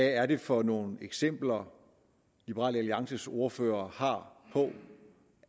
er det for nogle eksempler liberal alliances ordfører har på